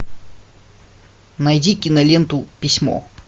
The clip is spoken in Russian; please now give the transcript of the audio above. найди киноленту письмо